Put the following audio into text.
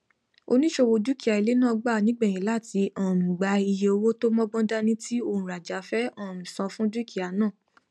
oníṣòwò dúkìá ilé náà gbà nígbẹyìn láti um gba iye owó tó mọgbọn dání tí ònrajà fẹ um san fún dúkìá náà